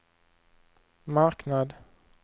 marknad